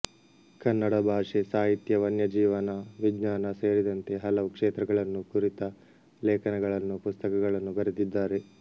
ಕನ್ನಡ ಭಾಷೆ ಸಾಹಿತ್ಯ ವನ್ಯಜೀವನ ವಿಜ್ಞಾನ ಸೇರಿದಂತೆ ಹಲವು ಕ್ಷೇತ್ರಗಳನ್ನು ಕುರಿತ ಲೇಖನಗಳನ್ನು ಪುಸ್ತಕಗಳನ್ನು ಬರೆದಿದ್ದಾರೆ